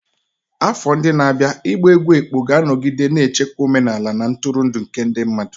Afọ ndị na-abịa ịgba egwú ekpo ga-anọgide na-echekwa omenala na ntụrụndụ nke ndị mmadụ.